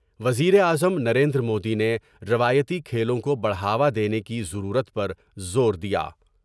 وزیراعظم نریندر مودی نے روایتی کھیلوں کو بڑھاوا دینے کی ضرورت پر زور دیا ۔